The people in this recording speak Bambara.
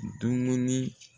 Dumuni